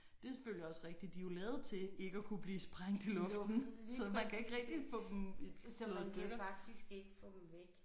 Det er selvfølgelig også rigtigt de er jo lavet til ikke at kunne blive sprængt i luften så man kan ikke rigtig få dem slået i stykker